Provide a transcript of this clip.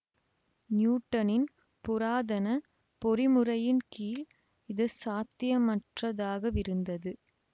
நியூட்டனின் புராதனப் பொறிமுறையின் கீழ் இது சாத்தியமற்றதாகவிருந்தது